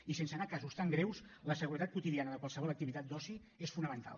i sense anar a casos tan greus la seguretat quotidiana de qualsevol activitat d’oci és fonamental